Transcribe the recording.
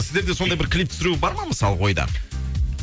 сіздерде сондай бір клип түсіру бар ма мысалғы ойда